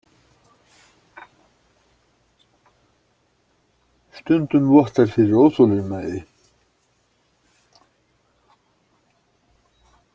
Stundum vottar fyrir óþolinmæði.